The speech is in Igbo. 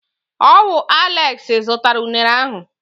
Ọ wụ Aleksi zụtara unere ahụ.